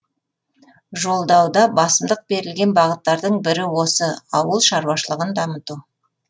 жолдауда басымдық берілген бағыттардың бірі осы ауыл шаруашылығын дамыту